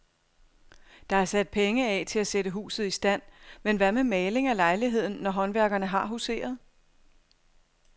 Der er sat penge af til at sætte huset i stand, men hvad med maling af lejligheden, når håndværkerne har huseret?